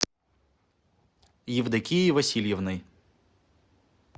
евдокией васильевной